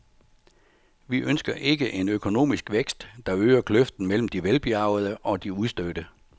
Vi ønsker ikke en økonomisk vækst, der øger kløften mellem de velbjærgede og de udstødte.